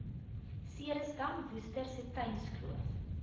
ceresdam worcester stettynskloof